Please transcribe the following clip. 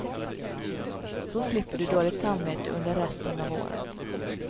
Så slipper du dåligt samvete under resten av året.